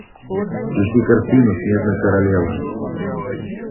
включи картину снежная королева